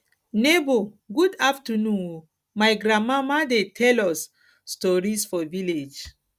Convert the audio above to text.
nebor good afternoon o my grandmama dey tell us stories for village